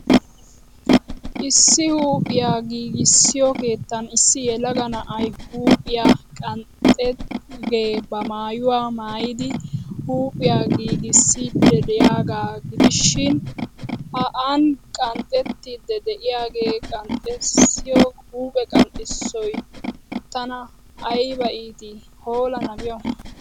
Issi huuphphiya giigissiyo keettan issi yelaga na'ay huuphphiya qanxxiyaagee ba maayuwaa maayid huupphiya giigissidi diyaagaa gidishiin ha an qaxxetti diyaagee qanxxissiyo huuphphe qanxxissoy tana aybba iitii! Hoola nabiyawu.